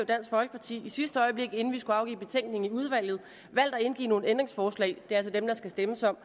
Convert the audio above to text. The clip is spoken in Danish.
dansk folkeparti i sidste øjeblik inden vi skulle afgive betænkning i udvalget valgt at indgive nogle ændringsforslag er altså dem der skal stemmes om